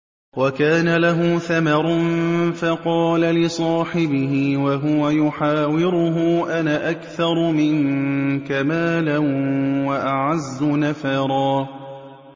وَكَانَ لَهُ ثَمَرٌ فَقَالَ لِصَاحِبِهِ وَهُوَ يُحَاوِرُهُ أَنَا أَكْثَرُ مِنكَ مَالًا وَأَعَزُّ نَفَرًا